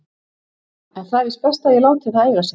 En það er víst best að ég láti það eiga sig.